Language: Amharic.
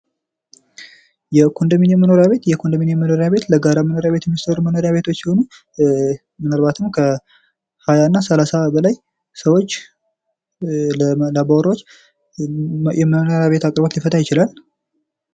የኮንደሚኒየም መኖሪያ ቤት የኮንደሚኒየም መኖሪያ ቤት ለጋራ መኖሪያ ቤት የሚሰሩ መኖሪያ ቤቶች ሲሆኑ ምናልባትም ከ20ና30 በላይ ሰዎች አባዎራዎች የመኖሪያ ቤት አቀበት ሊፈታ ይችላል።